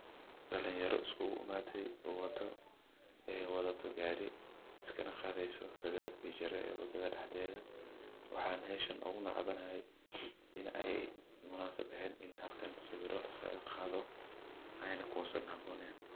Dalinyara isku imaate wadato gaari iskana qaadeyso sawiraan wadada dexdeeda, waxaana meeshan oogu necbanahay in aay munaasab eheen meel sawir liskaaga qaado aayna kuhabooneyn.